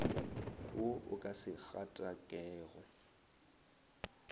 wo o ka se gatakego